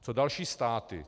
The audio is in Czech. Co další státy?